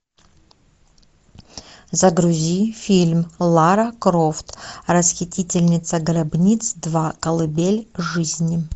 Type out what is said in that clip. загрузи фильм лара крофт расхитительница гробниц два колыбель жизни